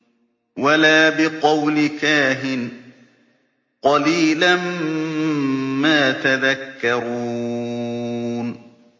وَلَا بِقَوْلِ كَاهِنٍ ۚ قَلِيلًا مَّا تَذَكَّرُونَ